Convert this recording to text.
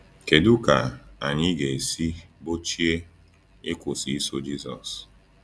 Kedu ka anyị ga-esi gbochie ịkwụsị iso Jisọs?